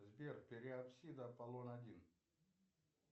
сбер пероксид аполлон один